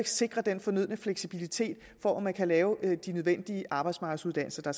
sikre den fornødne fleksibilitet for at man kan lave de arbejdsmarkedsuddannelser der